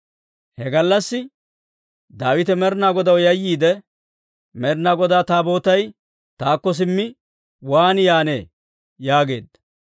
He gallassi Daawite Med'inaa Godaw yayyiide, «Med'inaa Godaa Taabootay taakko simmi waan yaannee?» yaageedda.